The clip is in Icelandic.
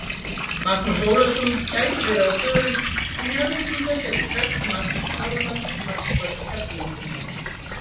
Magnús Ólafsson gæti verið á forum en Njarðvíkingar gætu krækt í Magnús Þormar markvörð Keflvíkinga.